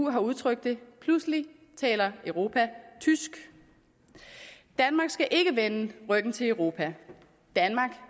har udtrykt det pludselig taler europa tysk danmark skal ikke vende ryggen til europa danmark